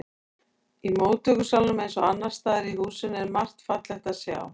Í móttökusalnum eins og annars staðar í húsinu er margt fallegt að sjá.